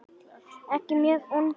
Ekki mjög ungur.